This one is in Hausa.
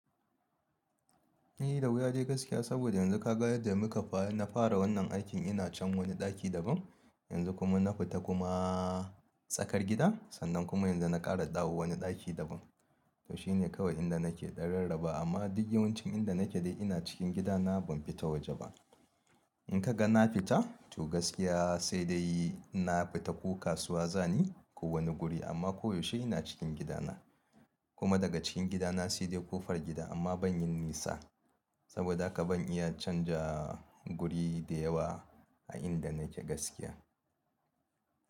Ni da wuya dai gaskiya saboda yanzu ka ga yadda muka fara. Na fara wannan aikin ina can wani ɗaki daban, yanzu kuma na fita kuma tsakar gida sannan kuma yanzu na ƙara dawo wani ɗaki daban. To shine kawai inda nake ɗan rarraba amma duk yawancin inda nake dai ina cikin gidana ban fita waje ba. In ka ga na fita to gaskiya sai dai inna fita ko kasuwa za ni ko wani guri amma koyaushe ina cikin gidana. Kuma daga cikin gidana sai dai kofar gida amma ban yin nisa saboda haka ban iya canza guri da yawa a inda nake gaskiya.